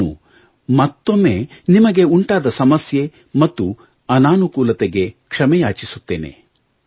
ನಾನು ಮತ್ತೊಮ್ಮೆ ನಿಮಗೆ ಉಂಟಾದ ಸಮಸ್ಯೆ ಮತ್ತು ಅನಾನುಕೂಲತೆಗೆ ಕ್ಷಮೆ ಯಾಚಿಸುತ್ತೇನೆ